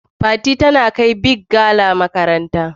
Fati tana kai " big gala" makaranta.